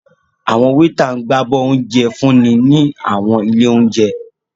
Awọn weeta ǹ gbabọ ounjẹ f́unni ni awọn ile ounjẹ.